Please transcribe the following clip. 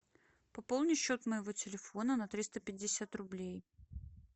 пополни счет моего телефона на триста пятьдесят рублей